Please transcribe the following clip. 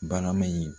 Banaama ɲi